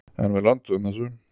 En við lönduðum þessu.